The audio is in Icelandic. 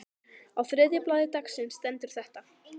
Á þriðja blaði dagsins stendur þetta